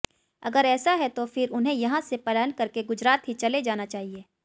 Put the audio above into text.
अगर ऐसा है तो फिर उन्हें यहां से पलायन करके गुजरात ही चला जाना चाहिए